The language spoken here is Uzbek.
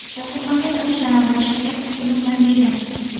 Dasturxonga tortishdan avval shakar kukuni bilan bezang.